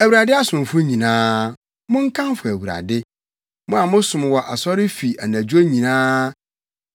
Awurade asomfo nyinaa, monkamfo Awurade, mo a mosom wɔ Awurade fi anadwo nyinaa.